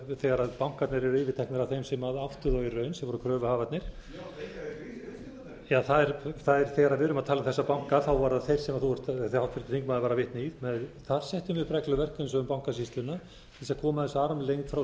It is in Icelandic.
þegar bankarnir eru yfirteknir af þeim sem áttu þá í raun sem voru kröfuhafarnir þegar við erum að tala um þessa banka þá voru það þeir sem háttvirtur þingmaður var að vitna í þar settum við upp regluverk eins og um bankasýsluna til þess að koma þessu armlengd frá